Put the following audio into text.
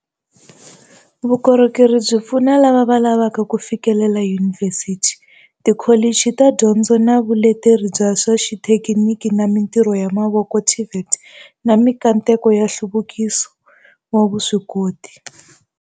Vukorhokeri byi pfuna lava lavaka ku fikelela yunivhesiti, tikholichi ta Dyondzo na Vuleteri bya swa Xithekiniki na Mitirho ya Mavoko, TVET, na mikateko ya nhluvukiso wa vuswikoti.